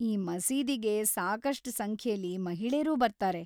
ಈ ಮಸೀದಿಗೆ ಸಾಕಷ್ಟ್‌ ಸಂಖ್ಯೆಲಿ ಮಹಿಳೇರೂ ಬರ್ತಾರೆ.